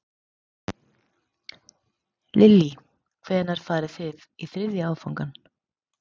Lillý: Hvenær farið þið í þriðja áfangann?